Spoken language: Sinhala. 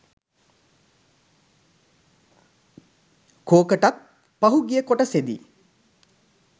කෝකටත් පහුගිය කොටසෙදි